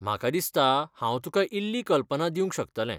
म्हाका दिसतां हांव तुका इल्ली कल्पना दिवंक शकतलें.